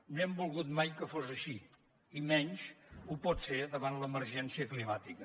no hem volgut mai que fos així i menys ho pot ser davant l’emergència climàtica